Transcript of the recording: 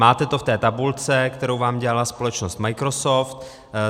Máte to v té tabulce, kterou vám dělala společnost Microsoft.